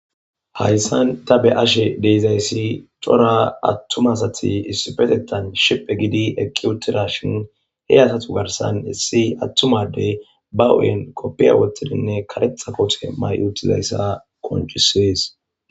hayssan ta be'ashe de'izayssi cora attuma asati issipetettan shiphi gidi eqqi uttidashin he asatu garsan issi attuma adey ba hu'en koppiya wottidinne karetha kote mayi uutizayssa qoncisees